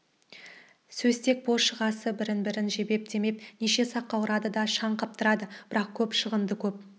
сөзтек бос шығасы бірін-бірі жебеп демеп неше саққа ұрады да шаң қаптырады бірақ көп шығынды көп